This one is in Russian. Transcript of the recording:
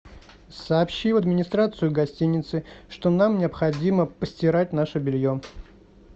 сообщи в администрацию гостиницы что нам необходимо постирать наше белье